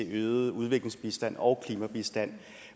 øget udviklingsbistand og klimabistand